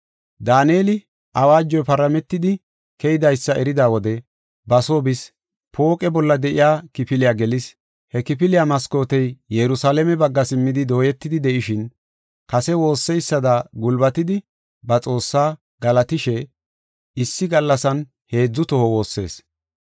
Daaneli awaajoy parametidi keydaysa erida wode ba soo bis; pooqe bolla de7iya kifiliya gelis. He kifiliya maskootey Yerusalaame bagga simmidi dooyetidi de7ishin, kase woosseysada gulbatidi, ba Xoossaa galatishe, issi gallasan heedzu toho woossees.